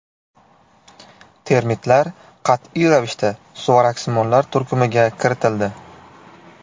Termitlar qat’iy ravishda suvaraksimonlar turkumiga kiritildi.